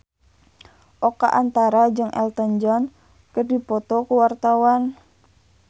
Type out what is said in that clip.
Oka Antara jeung Elton John keur dipoto ku wartawan